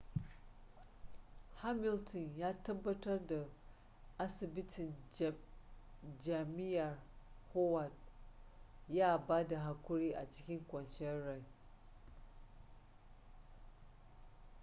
hamilton ya tabbatar da asibitin jami'ar howard ya ba da haƙuri a cikin kwanciyar hankali